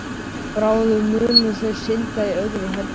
Bráðum munu þau synda í öðru herbergi.